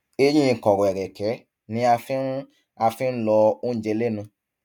eyín kọrọ ẹrẹkẹ ni a fi ń a fi ń lọ oúnjẹ lẹnu